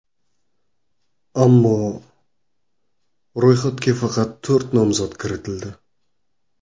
Ammo ro‘yxatga faqat to‘rt nomzod kiritildi.